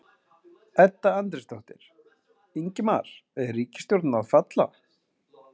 Edda Andrésdóttir: Ingimar er ríkisstjórnin að falla?